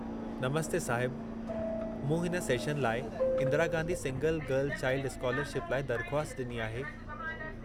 नमस्ते साहिबु, मूं हिन सेशन लाइ Indira Gandhi single girl child scholarship लाइ दरख़्वास्त ॾिनी आहे।